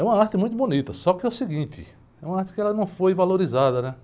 É uma arte muito bonita, só que é o seguinte, é uma arte que ela não foi valorizada, né?